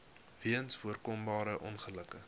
weens voorkombare ongelukke